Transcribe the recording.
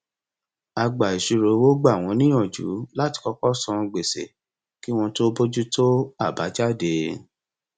agbàìṣirò owó gbà wọn níyànjú láti kọkọ san gbèsè kí wọn tó bójú tó àbájáde